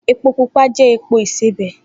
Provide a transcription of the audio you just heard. Epo pupa jẹ́ epo ìsebẹ̀